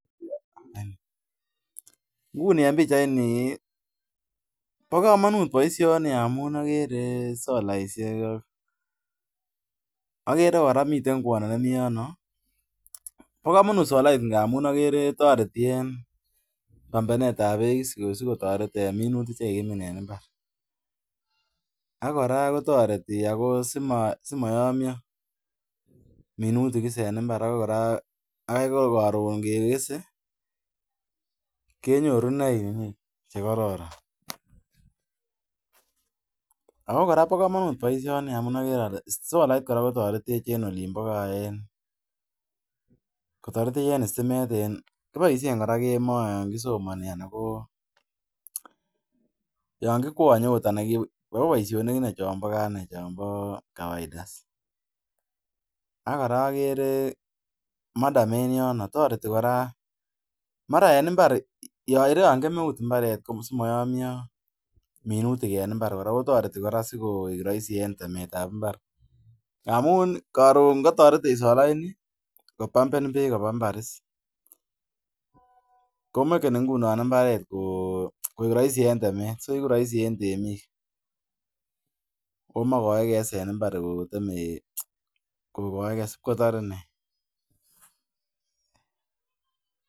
Nguni en bichait ni bogomonut boishoni amun agree solaishe akere kora kwondo nemiten yonebokomonut solaishek amun akere pombeni bek sigotoret minutik chekikomin en imbar kora kotoretin asimoyomyo minutik en imbar kora bokomonut boishoni amun agree ole solait kotoretin kiboishen kora en stimet yon kisomoni ak kora akere madam en yono toreti kora yon kemeut imbaret asimoyomyo minutik kotoretin kora asigoik soisi en temet tab imbar kamun korun kotoretet solaini kopamben bek koba imbar ko makeni imbaret koik roisi en temet o mogoeke en imbar kogoege sipkotore